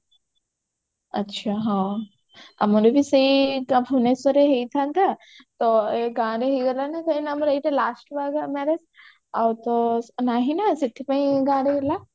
ଆଛା ହଁ ଆମର ବି ସେଇ ଏକା ଭୁବନେଶ୍ବରରେ ହେଇଥାନ୍ତା ତ ଗାଁରେ ହେଇଗଲା ନା କାହିଁକି ନା ଏଇଟା ଆମର last marriage ଆଉ ତ ନାହିଁ ନା ସେଥିପାଇଁ ଗାଁରେ ହେଲା